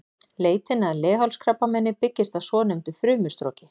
Leitin að leghálskrabbameini byggist á svonefndu frumustroki.